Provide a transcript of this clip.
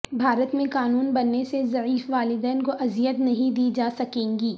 بھارت میں قانون بننےسے ضعیف والدین کو اذیت نہیں دی جاسکےگی